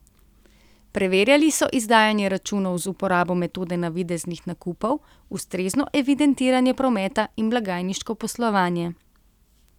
Preverjali so izdajanje računov z uporabo metode navideznih nakupov, ustrezno evidentiranje prometa in blagajniško poslovanje.